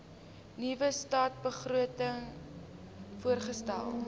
nuwe stadsbegroting voorgestel